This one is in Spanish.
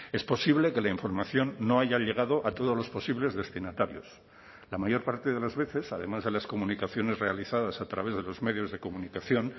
es posible que la información no haya llegado a todos los posibles destinatarios la mayor parte de las veces además de las comunicaciones realizadas a través de los medios de comunicación